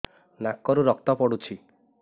ନାକରୁ ରକ୍ତ ପଡୁଛି